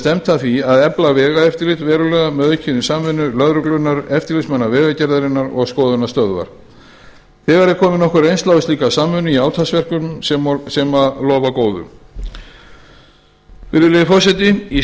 stefnt að því að efla vegaeftirlit verulega með aukinni samvinnu lögreglunnar eftirlitsmanna vegagerðarinnar og skoðunarstöðva þegar er komin nokkur reynsla á slíka samvinnu í átaksverkefnum sem lofa góðu í